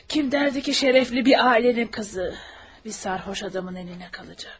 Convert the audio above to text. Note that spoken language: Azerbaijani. Kim derdi ki şərəfli bir ailənin qızı bir sərxoş adamın əlinə qalacaq?